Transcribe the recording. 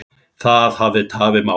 Það hafi tafið málið.